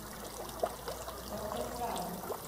доктор франк